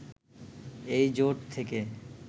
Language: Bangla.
এই জোট থেকে